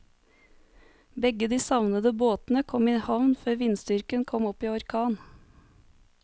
Begge de savnede båtene kom i havn før vindstyrken kom opp i orkan.